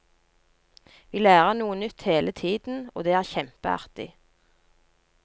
Vi lærer noe nytt hele tiden, og det er kjempeartig.